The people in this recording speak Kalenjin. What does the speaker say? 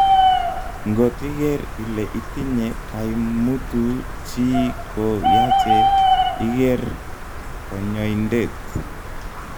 ngot iger ile itinye kaimutu chi ko yache iger konyoindet